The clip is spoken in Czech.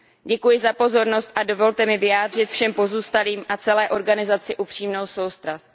Děkuji za pozornost a dovolte mi vyjádřit všem pozůstalým a celé organizaci upřímnou soustrast.